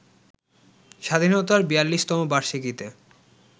স্বাধীনতার ৪২তম বার্ষিকীতে